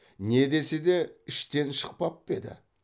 не десе де іштен шықпап па еді